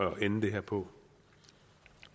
at lande det her på